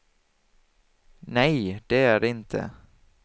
Nej, det är det inte.